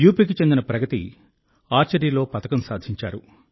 యూపీకి చెందిన ప్రగతి ఆర్చరీలో పతకం సాధించారు